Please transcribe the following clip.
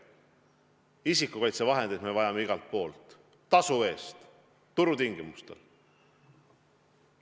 Isikukaitsevahendeid me vajame igalt poolt, tasu eest, turutingimustel.